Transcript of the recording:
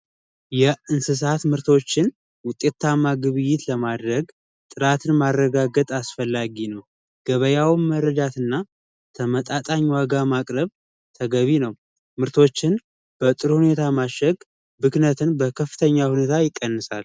የእንሰሳት ምርቶችን ውጤታማ የሆነ ግብይት ለማድረግ ጥራትን ማረጋገጥ አስፈላጊ ነው። ገበያውን መረዳት እና ተመጣጣኝ ዋጋ ማቅረብ ተገቢ ነው። ምርቶችን በጥሩ ሁኔታ ማሸግ ብክነትን በከፍተኛ ሁኔታ ይቀንሳል።